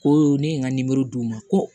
Ko ne ye n ka d'u ma ko